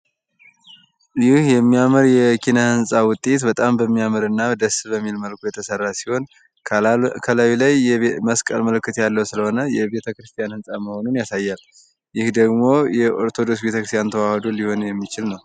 ይህ የሚያምር የኪነ ህንፃ ውጤት በጣም በሚያምር እና ደስ በሚል መልኩ የተሰራ ሲሆን ከላይ ላይ የመስቀል ምልክት ያለው ስለሆነ የቤተ ክርስቲያን ህንፃ መሆኑን ያሳያል ። ይህ ደግሞ የኦርቶዶክስ ቤተክርስቲያን ተዋህዶ ሊሆን የሚችል ነው ።